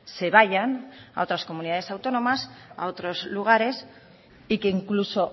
se vayan a otras comunidades autónomas a otros lugares y que incluso